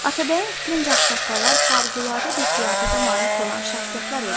Atabəyin fikrincə ağsaqqallar xarüladə bir qiyafətə malik olan şəxsiyyətlər idi.